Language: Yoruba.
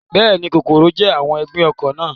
Bẹ́ẹ̀ni, kòkòrò jẹ́ àwọn ọ̀gbìn oko náà